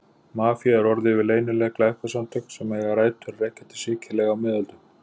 Mafía er orð yfir leynileg glæpasamtök sem eiga rætur að rekja til Sikileyjar á miðöldum.